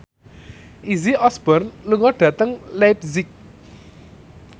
Izzy Osborne lunga dhateng leipzig